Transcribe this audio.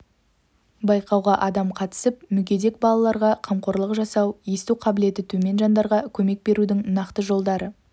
байқауға адам қатысып мүгедек балаларға қамқорлық жасау есту қабілеті төмен жандарға көмек берудің нақты жолдары